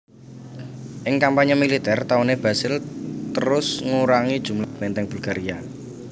Ing kampanye militer tauné Basil terus ngurangi jumlah benteng Bulgaria